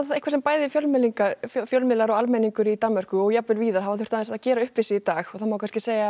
sem bæði fjölmiðlar fjölmiðlar og almenningur í Danmörku og jafnvel víðar hafa þurft aðeins að gera upp við sig í dag það má kannski segja að